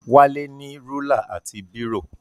Wálé ní rúlà àti bírò.